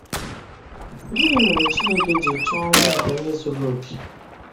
Gịnị mere Chineke ji chọọ ọnwụ nke onye zuru oke?